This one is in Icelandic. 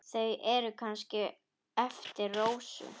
Eru þau kannski eftir Rósu?